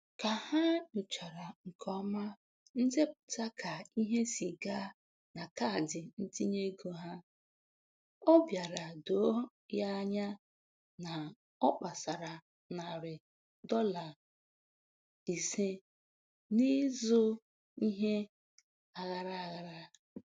Ka ha nyochachara nke ọma ndepụta ka ihe si gaa na kaadị ntinyeego ha, ọ bịara doo ya anya na ọ kpasara narị dọla ise n'ịzụ ihe aghara aghara.